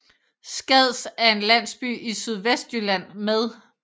Skads er en landsby i Sydvestjylland med